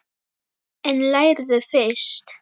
En lærðu fyrst.